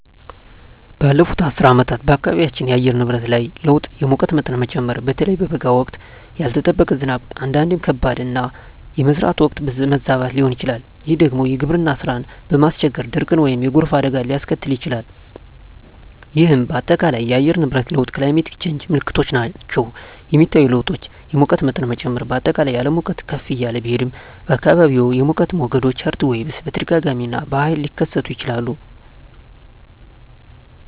ባለፉት አስርት ዓመታት በአካባቢያችን የአየር ንብረት ላይ ለውጥ የሙቀት መጠን መጨመር (በተለይ በበጋ ወቅት)፣ ያልተጠበቀ ዝናብ (አንዳንዴም ከባድ)፣ እና የመዝራት ወቅት መዛባት ሊሆን ይችላል፤ ይህ ደግሞ የግብርና ሥራን በማስቸገር ድርቅን ወይም የጎርፍ አደጋን ሊያስከትል ይችላል፣ ይህም በአጠቃላይ የአየር ንብረት ለውጥ (Climate Change) ምልክቶች ናቸው. የሚታዩ ለውጦች: የሙቀት መጠን መጨመር: በአጠቃላይ የዓለም ሙቀት ከፍ እያለ ቢሄድም፣ በአካባቢዎም የሙቀት ሞገዶች (Heatwaves) በተደጋጋሚ እና በኃይል ሊከሰቱ ይችላሉ.